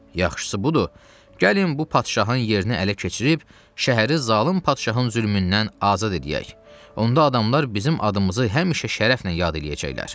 Yaxşısı budur, gəlin bu padşahın yerini ələ keçirib, şəhəri zalım padşahın zülmündən azad eləyək, onda adamlar bizim adımızı həmişə şərəflə yad eləyəcəklər.